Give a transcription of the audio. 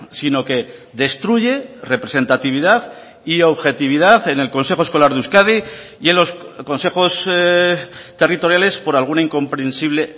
sino que destruye representatividad y objetividad en el consejo escolar de euskadi y en los consejos territoriales por alguna incomprensible